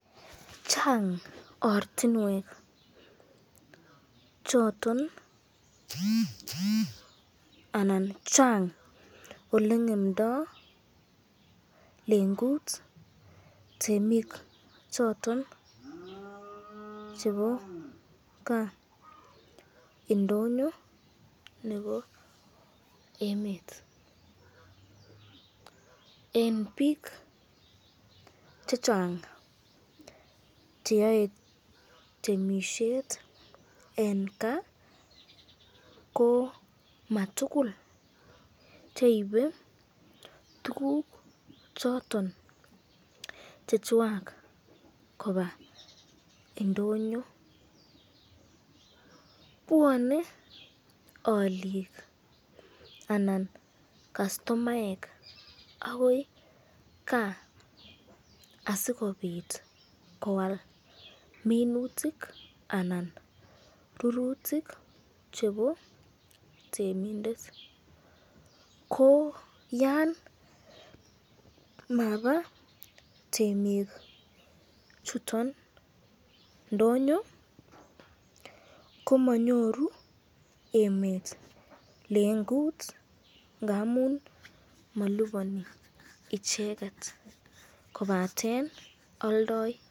Chang ortinwek choton anan Chang olengemdoi lengut temik choton chebo kaa indonyo nebo emet, eng bik chechang cheyoe temisyet eng kaa ko matikul cheibe tukuk choton chechwak koba indonyo, bwane alikua anan kastomaek akoi kaa asikobit koal minutik anan rurutik chebo temindet, ko yan maba temik chuton ndonyo , komanyoru emet lengut ngamun malibani icheket kobaten aldai.